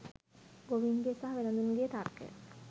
ගොවීන්ගේ සහ වෙළෙදුන්ගේ තර්කය